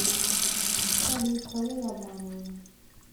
салют кого я обманываю